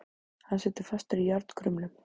Hann situr fastur í járnkrumlum.